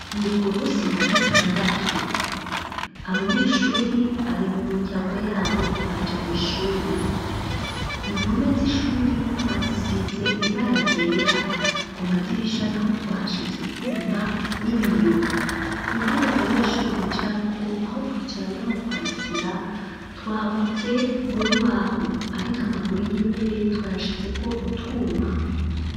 Ni ku munsi wa gatandatu. Abanyeshuri bari mu miryango yabo ntibaje kw'ishuri. Impome z'ishuri twagisize ibara ryera. Ku madirisha naho twahashize utwuma n'ibiyo. Intebe abanyeshuri bicarako aho kwicara naho kwandikira twahakoze mu rubaho. Ariko amaguru y'intebe twayashizeko utwuma.